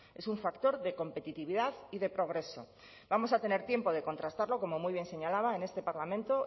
es un factor de competitividad y de progreso vamos a tener tiempo de contrastarlo como muy bien señalaba en este parlamento